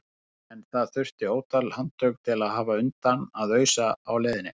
En það þurfti ótal handtök til að hafa undan að ausa á leiðinni.